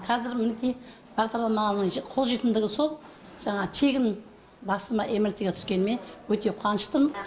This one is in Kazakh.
қазір мінекей бағдарламаның қолжетімділігі сол жаңағы тегін басыма мрт ге түскеніме өте қуаныштымын